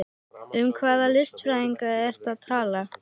Um hvaða listfræðinga ertu að tala?